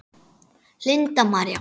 Linda María.